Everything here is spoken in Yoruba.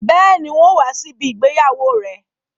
Bẹ́ẹ̀ni, n ó wá sí ìgbéyàwó rẹ